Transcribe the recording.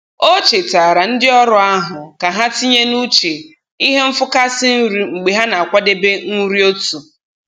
O chetaara ndị ọrụ ahụ ka ha tinye n'uche ihe nfụkasị nri mgbe ha na-akwadebe nri otu.